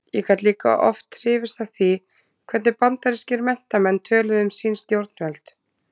Ég gat líka oft hrifist af því hvernig bandarískir menntamenn töluðu um sín stjórnvöld.